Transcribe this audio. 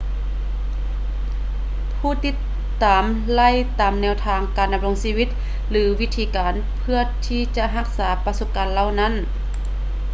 ຜູ້ຕິດຕາມໄລ່ຕາມແນວທາງການດຳລົງຊີວິດ ຫຼື ວິທີການເພື່ອທີ່ຈະຮັກສາປະສົບການເຫຼົ່ານັ້ນ